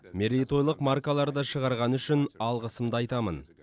мерейтойлық маркаларды шығарғаны үшін алғысымды айтамын